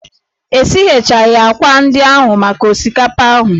E sighechaghị ákwà ndị ahụ maka osikapa ahụ.